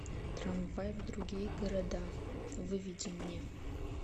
трамвай в другие города выведи мне